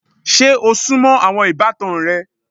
Ṣe o súnmọ́ àwọn ìbátan rẹ?